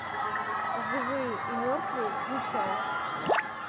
живые и мертвые включай